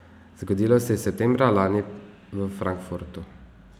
Zgodilo se je septembra lani v Frankfurtu.